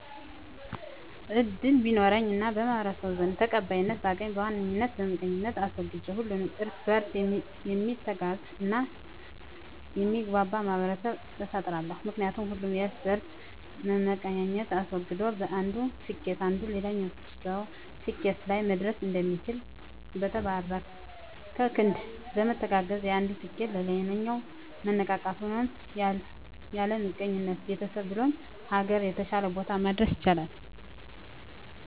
እድል ቢኖረኝ እና በማህበረሰቡ ዘንድ ተቀባይነትን ባገኝ በዋነኝ ምቀኝነትን አስወግጄ ሁሉም እርስ በእርስ ሚተጋገዝ እና የሚግባባ ማህበረሰብን እፈጥራለሁ። ምክንያቱም ሁሉም የእርስ በእርስ መመቀኛኘትን አስወግዶ በአንዱ ስኬት አንዱ ተደስቶ እንዴት ስኬት ላይ እንደደረሰ በመጠየቅ ሌላኛውም ሰው ስኬት ላይ መድረስ እንዲችል። በተባበረ ክንድ በመተጋገዝ የአንዱ ስኬት ሌላው መነቃቃትን ሆኖት ያለምቀኝነት ቤተሰብህ ብሎም ሀገርን የተሻለ ቦታ ማድረስ ይቻላል።